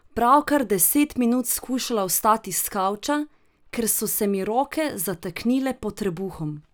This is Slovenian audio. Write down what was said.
Pravkar deset minut skušala vstati s kavča, ker so se mi roke zataknile pod trebuhom.